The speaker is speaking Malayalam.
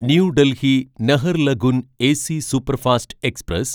new Delhi Naharlagun AC superfast express